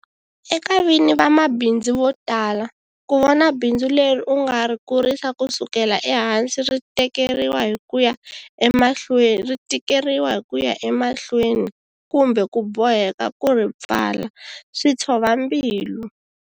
Eka vini va mabindzu vo tala, ku vona bindzu leri u nga ri kurisa kusukela ehansi ri tikeriwa hi ku ya emahlweni, kumbe ku boheka ku ri pfala, switshova mbilu.